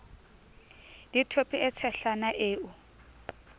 le thope e tshehlana eo